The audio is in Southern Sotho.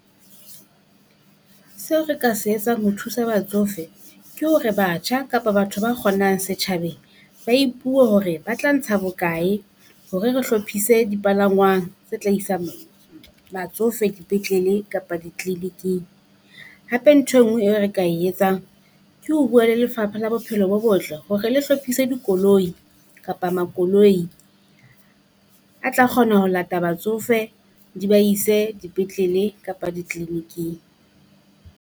Seo re ka se etsang ho thusa batsofe ke hore batjha kapa batho ba kgonang setjhabeng, ba ipuwe, hore ba tla ntsha bokae hore re hlophise dipalangwang tse tla isang batsofe dipetlele kapa di-clinic-ing. Hape ntho enngwe e re ka e etsang Ke ho bua le Lefapha la Bophelo bo Botle hore le hlopise dikoloi kapa makoloi a tla kgona ho lata batsofe di ba ise dipetlele kapa di-clinic-ing.